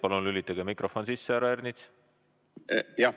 Palun lülitage mikrofon sisse, härra Ernits!